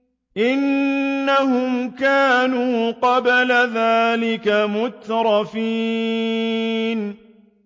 إِنَّهُمْ كَانُوا قَبْلَ ذَٰلِكَ مُتْرَفِينَ